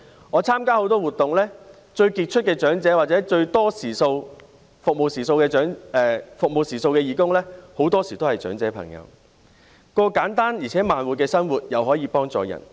我參加很多活動，最傑出的長者，或者服務時數最多的義工，很多時候也是長者朋友，既可過簡單而且慢活的生活，又可以幫助別人。